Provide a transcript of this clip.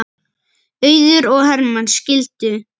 Auður og Hermann skildu.